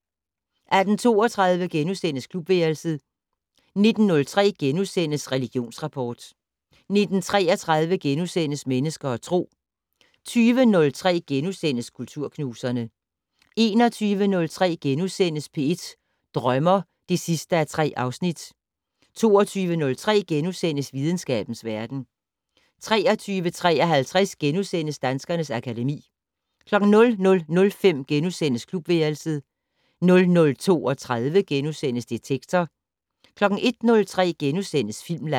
18:32: Klubværelset * 19:03: Religionsrapport * 19:33: Mennesker og Tro * 20:03: Kulturknuserne * 21:03: P1 Drømmer (3:3)* 22:03: Videnskabens verden * 23:53: Danskernes akademi * 00:05: Klubværelset * 00:32: Detektor * 01:03: Filmland *